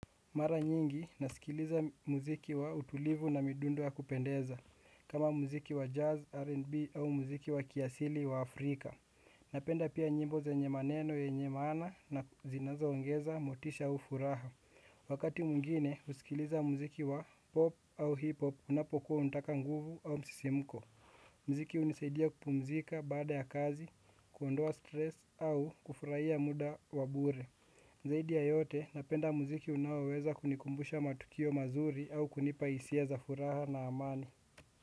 Mara nyingi nasikiliza muziki wa utulivu na midundo ya kupendeza kama muziki wa jazz, R&B au muziki wa kiasili wa Afrika. Napenda pia nyimbo za yenye maneno yenye maana na zinazoongeza motisha ufuraha. Wakati mwingine husikiliza muziki wa pop au hip hop unapokuwa unataka nguvu au msisimko. Muziki hunisaidia kupumzika baada ya kazi, kuondoa stress au kufurahia muda wa bure. Zaidi ya yote, napenda muziki unaoweza kunikumbusha matukio mazuri au kunipa hisia za furaha na amani.